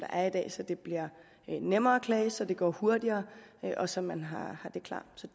er i dag så det bliver nemmere at klage så det går hurtigere og så man har det klart så